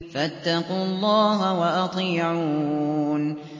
فَاتَّقُوا اللَّهَ وَأَطِيعُونِ